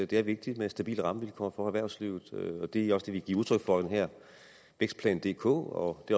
det er vigtigt med stabile rammevilkår for erhvervslivet og det er også det vi giver udtryk for i den her vækstplan dk og det